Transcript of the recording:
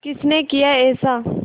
किसने किया ऐसा